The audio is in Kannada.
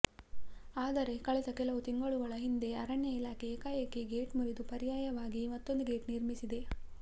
ಆದರೆ ಕಳೆದ ಕೆಲವು ತಿಂಗಳುಗಳ ಹಿಂದೆ ಅರಣ್ಯ ಇಲಾಖೆ ಏಕಾಏಕಿ ಗೇಟ್ ಮುರಿದು ಪರ್ಯಾಯವಾಗಿ ಮತ್ತೊಂದು ಗೇಟ್ ನಿರ್ಮಿಸಿದೆ